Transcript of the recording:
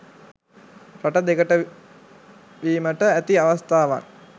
රට දෙකඩ වීමට ඇති අවස්ථාවන්